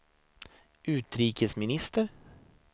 utrikesminister